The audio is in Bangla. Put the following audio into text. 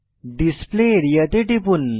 ডিসপ্লে আরিয়া তে টিপুন